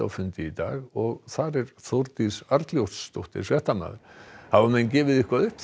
fundað í dag og þar er Þórdís Arnljótsdóttir hafa menn gefið eitthvað upp